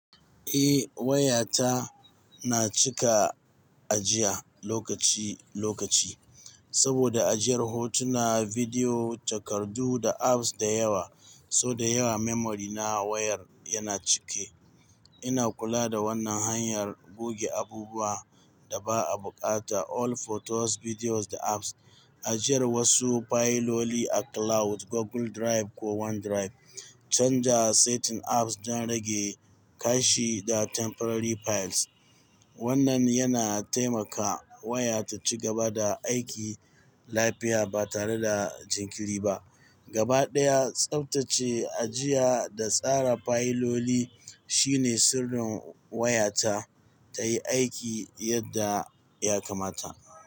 Eh waya ta na cika ajiya lokaci lokaci saboda ajiyar hotuna, bidiyo, takardu da apps da yawa. So da yawa memory na wayar yana cike. Ina kula da wannan hanyar goge abubuwa da ba a bukata all photos, videos da apps, ajiyar wasu fayiloli a cloud Google Drive ko OneDrive, canja setting apps don rage kashi da temporary files. Wannan yana taimaka waya ta ci gaba da aiki lafiya ba tare da jinkiri ba. Gabaɗaya, tsaftace ajiya da tsara fayiloli shine sirrin waya ta tayi aiki yadda ya kamata.